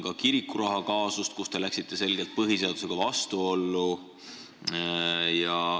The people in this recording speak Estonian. Ka kirikurahakaasusega te läksite selgelt põhiseadusega vastuollu.